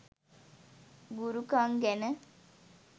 "ගුරුකං" ගැන